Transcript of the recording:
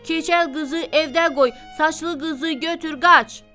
Keçəl qızı evdə qoy, saçlı qızı götür qaç!